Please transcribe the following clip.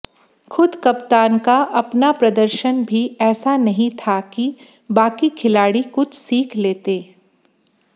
खुद कप्तान का अपना प्रदर्शन भी ऐसा नहीं था कि बाकी खिलाड़ी कुछ सीख लेते